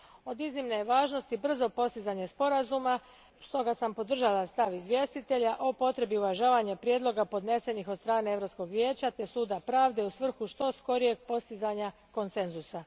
Od iznimne je važnosti brzo postizanje sporazuma, stoga sam podržala stav izvjestitelja o potrebi uvažavanja prijedloga podnesenih od strane Europskog vijeća te Suda pravde u svrhu što skorijeg postizanja konsenzusa.